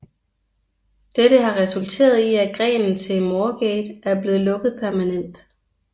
Dette har resulteret i at grenen til Moorgate er blevet lukket permanent